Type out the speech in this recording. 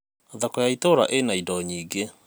thoko ya ituura ĩna indo nyingĩ